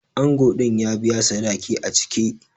Ango din ya biya sadaki a cike.